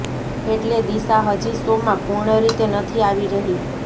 એટલે દિશા હજી શોમાં પૂર્ણ રીતે નથી આવી રહી